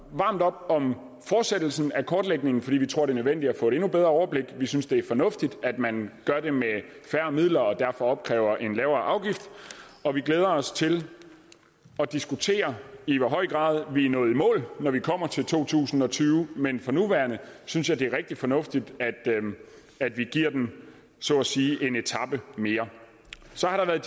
varmt op om fortsættelsen af kortlægningen fordi vi tror det er nødvendigt at få et endnu bedre overblik vi synes det er fornuftigt at man gør det med færre midler og derfor opkræver en lavere afgift og vi glæder os til at diskutere i hvor høj grad vi er nået i mål når vi kommer til to tusind og tyve men for nuværende synes jeg det er rigtig fornuftigt at vi giver den så at sige en etape mere så har det